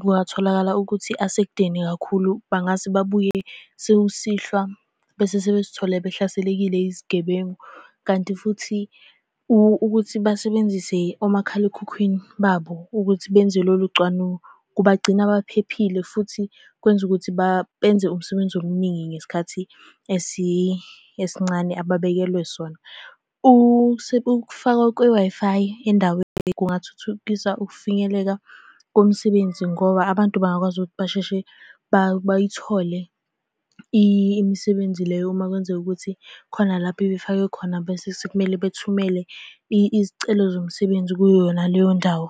kungatholakala ukuthi asekudeni kakhulu bangase babuye sekusihlwa. Bese sebezithole behlaselekile yizigebengu. Kanti futhi ukuthi basebenzise omakhalekhukhwini babo ukuthi benze lolu cwanu, kubagcina baphephile futhi kwenza ukuthi benze umsebenzi omuningi ngesikhathi esincane ababekelwe sona. Ukufakwa kwe-Wi-Fi endaweni kungathuthukisa ukufinyeleka komsebenzi ngoba abantu bangakwazi ukuthi basheshe bayithole imisebenzi leyo uma kwenzeka ukuthi khona lapho ebifakwe khona bese sekumele bethumele izicelo zomsebenzi kuyo yona leyo ndawo.